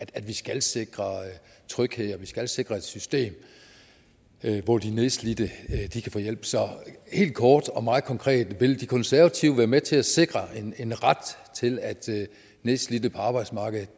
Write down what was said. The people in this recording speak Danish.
at vi skal sikre tryghed og skal sikre et system hvor de nedslidte kan få hjælp så helt kort og meget konkret vil de konservative være med til at sikre en ret til at nedslidte på arbejdsmarkedet